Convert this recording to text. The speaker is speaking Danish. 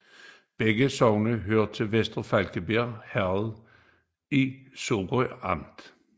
Begge sogne hørte til Vester Flakkebjerg Herred i Sorø Amt